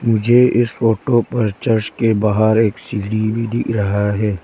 मुझे इस फोटो पर चर्च के बाहर एक सीढ़ी भी दिख रहा है।